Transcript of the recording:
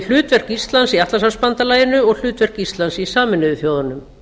hlutverk íslands í atlantshafsbandalaginu og hlutverk íslands í sameinuðu þjóðunum